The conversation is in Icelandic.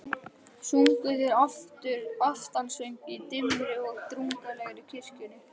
Sungu þeir aftansöng í dimmri og drungalegri kirkjunni.